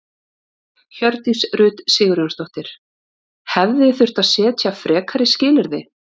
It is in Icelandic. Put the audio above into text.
Hjördís Rut Sigurjónsdóttir: Hefði þurft að setja frekari skilyrði?